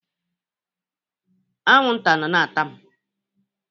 Anwụ nta nọ na ata m.